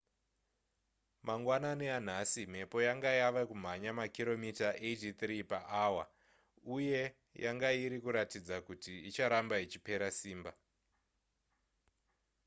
mangwanani anhasi mhepo yanga yava kumhanya makiromita 83 paawa uye yanga iri kuratidza kuti icharamba ichipera simba